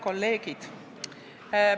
Head kolleegid!